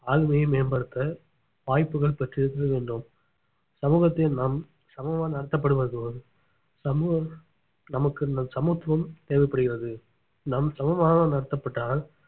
ஆளுமையை மேம்படுத்த வாய்ப்புகள் பெற்றிறுத்தல் வேண்டும் சமூகத்தின் நாம் சமமாக நடத்தப்படுவது போல் சமூகம் நமக்கு சமத்துவம் தேவைப்படுகிறது நாம் சமமாக நடத்தப்பட்டால்